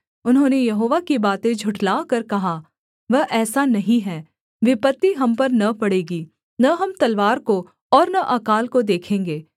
उन्होंने यहोवा की बातें झुठलाकर कहा वह ऐसा नहीं है विपत्ति हम पर न पड़ेगी न हम तलवार को और न अकाल को देखेंगे